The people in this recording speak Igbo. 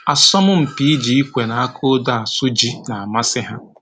Asọmpi iji ikwe na aka odo asụ ji na-amasị ha